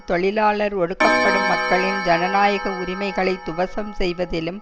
தொழிலாளர் ஒடுக்கப்படும் மக்களின் ஜனநாயக உரிமைகளை துவசம் செய்வதிலும்